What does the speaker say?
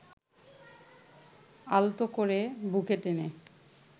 আলতো করে বুকে টেনে